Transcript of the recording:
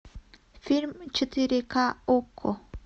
фильм четыре ка окко